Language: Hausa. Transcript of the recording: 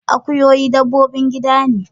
Akuyoyi dabbobin gida ne.